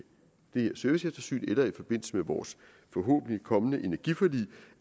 det her serviceeftersyn eller i forbindelse med vores forhåbentligt kommende energiforlig